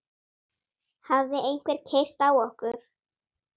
Hafði einhver keyrt á okkur?